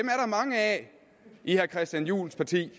mange af i herre christian juhls parti